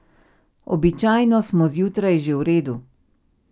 Običajno smo zjutraj že v redu.